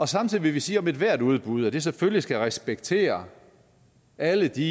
samtidig vil vi sige om ethvert udbud at det selvfølgelig skal respektere alle de